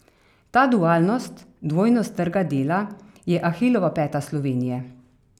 Ta dualnost, dvojnost trga dela je ahilova peta Slovenije.